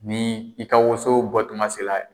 Ni i ka woso bɔtuma se la